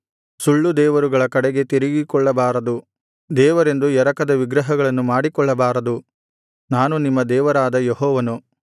ಸುಳ್ಳುದೇವರುಗಳ ಕಡೆಗೆ ತಿರುಗಿಕೊಳ್ಳಬಾರದು ದೇವರೆಂದು ಎರಕದ ವಿಗ್ರಹಗಳನ್ನು ಮಾಡಿಕೊಳ್ಳಬಾರದು ನಾನು ನಿಮ್ಮ ದೇವರಾದ ಯೆಹೋವನು